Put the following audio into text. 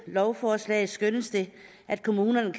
lovforslag skønnes det at kommunerne